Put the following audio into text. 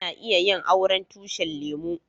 Ana iya yin auren tushin lemu.